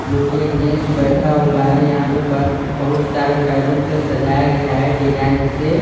जोकि एक जेंस बैठा हुआ है यहाँ पर बहुत सारे बैलून से सजाया गया है डिजाइन से।